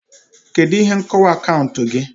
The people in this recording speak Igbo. Kedu ihe nkọwa akaụntụ gị?